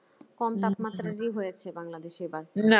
কম তাপমাত্রা হয়েছে বাংলাদেশ